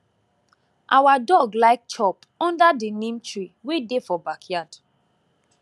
our dog like chop under di neem tree wey dey for backyard